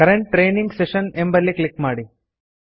current training session ಎಂಬಲ್ಲಿ click ಮಾಡಿ